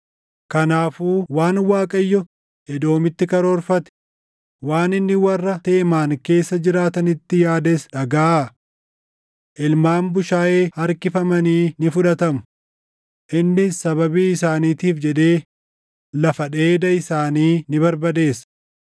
Kanaafuu waan Waaqayyo Edoomitti karoorfate, waan inni warra Teemaan keessa jiraatanitti yaades dhagaʼaa. Ilmaan bushaayee harkifamanii ni fudhatamu; innis sababii isaaniitiif jedhee lafa dheeda isaanii ni barbadeessa.